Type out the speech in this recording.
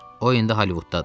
O indi Holivudda.